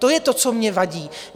To je to, co mi vadí.